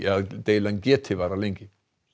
að deilan geti varað lengi